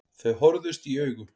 Þau horfðust í augu.